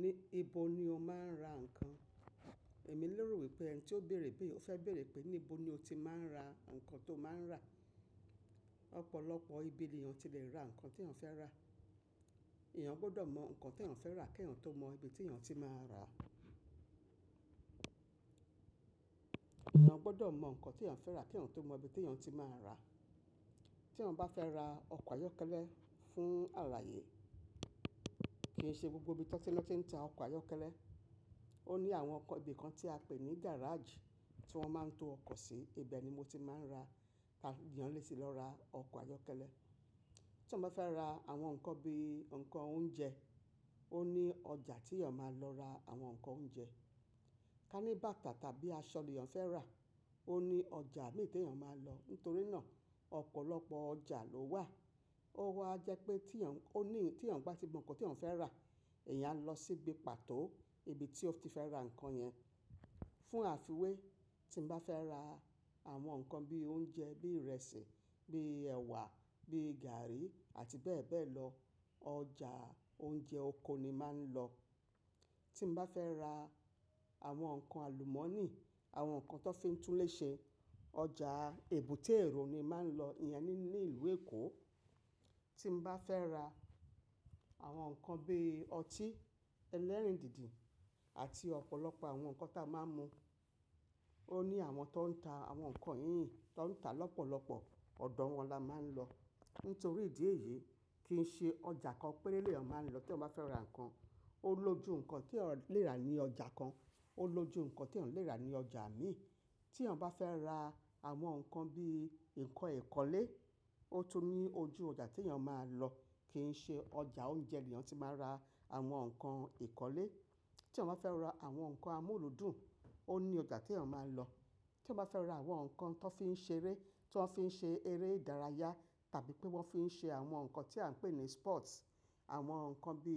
Níbo ni o máa ń ra ǹkan? Èmi lerò wípé ẹni tí ó béèrè bí, ó fẹ́ béèrè pé níbo ni o ti máa ń ra ǹkan tó máa ń rà. Ọ̀pọ̀lọpọ̀ ibi ni èèyàn ti lè ra ǹkan tí èèyàn fẹ́ rà. Ìyẹn gbọ́dọ̀ mọ ǹkan tí èèyàn fẹ́ rà kí èèyàn tó mọ ibi tí èèyàn tí máa rà. Ìyẹn gbọ́dọ̀ mọ ǹkan tí èèyàn fẹ́ rà kí èèyàn tó mọ ibi tí èèyàn tí máa rà. Tí èèyàn bá fẹ́ ra ọkọ̀ ayọ́kẹ́lẹ́ fún alààyè, kì í ṣe gbogbo ibi tí wọ́n ti ń ta ọkọ̀ ayọ́kẹ́lẹ́. Ó ní àwọn ibi kan tí a pè ní gáràajì tí wọ́n máa ń to ọkọ̀ sí. Ibe ni mo ti máa ń rà, èèyàn lè ti lọ ra ọkọ̀ ayọ́kẹ́lẹ́. Tí mo bá fẹ́ ra àwọn ǹkan bí ǹkan oúnjẹ, ó ní ọjà tí èèyàn máa lọ ra àwọn ǹkan oúnjẹ. Ka ní bàtà tàbí aṣọ ni èèyàn fẹ́ rà, ó ní ọjà mi tí èèyàn máa lọ. Nítorí náà, ọ̀pọ̀lọpọ̀ ọjà ló wà. Ó wà jẹ́ pé tí èèyàn, ó ní tí èèyàn bá ti mọ ǹkan tí èèyàn fẹ́ rà, èèyàn á lọ sí ibi pàtó ibi tí ó ti fẹ́ ra ǹkan yẹn. Fún àfiwé, tí mo bá fẹ́ ra àwọn ǹkan bí oúnjẹ, bí ìrẹsì, bí ẹ̀wà, bí gààrí àti bẹ́ẹ̀ bẹ́ẹ̀ lọ, ọjà oúnjẹ oko ni màá ń lọ. Tí mo bá fẹ́ ra àwọn ǹkan àlùmọ́nì, àwọn ǹkan tó fi ń túnlé ṣe, ọjà èbúté Èrò ni màá ń lọ. Ìyẹn ní ìlú Èkó. Tí n bá fẹ́ ra àwọn ǹkan bí ọtí ẹlẹ́rìndídì àti ọ̀pọ̀lọpọ̀ àwọn ǹkan táa máa ń mu, ó ní àwọn tó ń ta àwọn ǹkan yíyìn, tó ń ta lọ́pọ̀lọpọ̀ ọ̀dọ̀ wọn la máa ń lọ. Nítorí ìdí èyí kì í ṣe ọjà kan péré ni èèyàn máa ń lọ tí eeyan bá fẹ́ ra ǹkan. Ó lojú ǹkan tí èèyàn lè rà ní ọjà kan, ó lojú ǹkan tí èèyàn lè rà ní ọjà mi. Tí èèyàn bá fẹ́ ra àwọn ǹkan bí ǹkan ìkọ́lé, ó tún ní ojú ọjà tí èèyàn máa lọ. Kì í ṣe ọjà oúnjẹ ni èèyàn tí máa ra àwọn ǹkan ìkọ́lé. Tí èèyàn bá fẹ́ ra àwọn ǹkan amúlùdùn, ó ní ọjà tí èèyàn máa lọ. Tí èèyàn bá fẹ́ ra àwọn ǹkan tó fi ń ṣe eré, tó fi ń ṣe eré ìdárayá tàbí pé wọ́n fi ń ṣe àwọn ǹkan tí à ń pè ní sports, àwọn ǹkan bí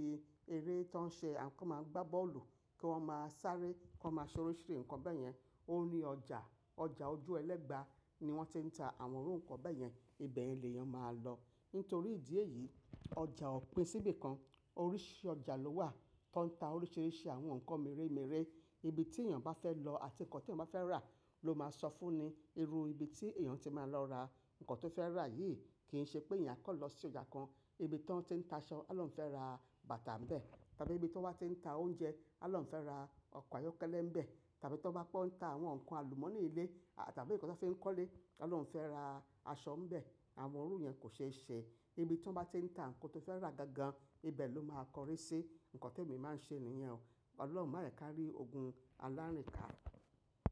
eré tó ń ṣe àwọn kan máa ń gbá bọ́ọ̀lù kí wọ́n máa sáré, kí wọ́n máa ṣoríṣirí ǹkan bẹ́ẹ̀ yẹn, ó ní ọjà. Ọjà ojú ẹlẹ́gba ni wọ́n ti ń ta àwọn irú ǹkan bẹ́ẹ̀ yẹn. Ibe ni lèèyàn máa lọ. Nítorí ìdí èyí, ọjà ò pin síbi kan. Oríṣi ọjà ló wà tó ń ta oríṣiríṣi àwọn ǹkan méremére. Ibi tí èèyàn bá fẹ́ lọ àti ǹkan tí èèyàn bá fẹ́ rà ló máa sọ fún ni irú ibi tí èèyàn ti máa lọ ra ǹkan tó fẹ́ rà yìí. Kì í ṣe pé èèyàn kọ̀ lọ sí ọjà kan, ibi tí wọ́n ti ń ta aṣọ, à lọ́ ń fẹ́ ra bàtà ńbẹ́. Tàbí ibi tí wọ́n wá ti ń ta oúnjẹ, à lọ́ ń fẹ́ ra ọkọ̀ ayọ́kẹ́lẹ́ ńbẹ́. Tàbí tí bá pọ́n ta àwọn ǹkan àlùmọ́nì ilé tàbí ǹkan tó fi ń kọ́lé, à lọ́ ń fẹ́ ra aṣọ ńbẹ́. Àwọn irú yẹn kò ṣe é ṣe. Ibi tí wọ́n bá ti ń ta ǹkan tó fẹ́ rà gangan, ibẹ̀ ló máa kọrí sí. Ǹkan tí èmi máa ń ṣe nìyẹn. Ọ̀lọ́huń máa yekáríí ogun alárìnká.